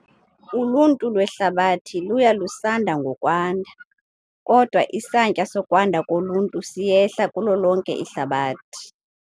uluntu lwehlabathi luya lusanda ngokwanda, kodwa isantya sokwanda koluntu siyehla kulo lonke ihlabathi.